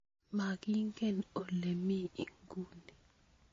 Magingen ole mi inguni